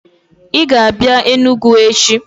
Ị ga-abịa Enugwu echi!